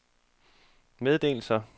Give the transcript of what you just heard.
meddelelser